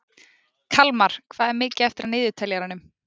Kalmar, hvað er mikið eftir af niðurteljaranum?